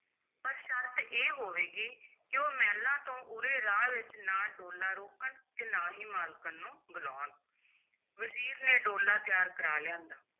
ਪਰ ਸ਼ਰਤ ਇਹ ਹੋਵੇਗੀ ਕਿ ਉਹ ਮਹਿਲਾਂ ਤੋਂ ਉਰੇ ਰਾਹ ਵਿਚ ਨਾ ਡੋਲਾ ਰੋਕਣ ਤੇ ਨਾ ਹੀ ਮਾਲਕਣ ਨੂੰ ਬੁਲਾਉਣ ਵਜ਼ੀਰ ਨੇ ਡੋਲਾ ਤਿਆਰ ਕਰਾ ਲਿਆਂਦਾ,